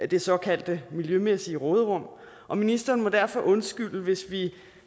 det såkaldte miljømæssige råderum og ministeren må derfor undskylde hvis vi